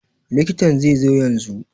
Likitan zai zo yanzun